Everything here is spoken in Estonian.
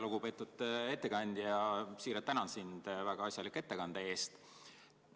Väga lugupeetud ettekandja, siiralt tänan sind väga asjaliku ettekande eest!